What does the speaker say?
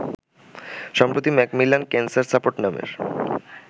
সম্প্রতি Macmillan Cancer Support নামের